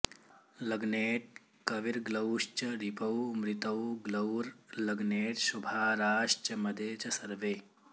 लग्नेट् कविर्ग्लौश्च रिपौ मृतौ ग्लौर्लग्नेट्शुभाराश्च मदे च सर्वे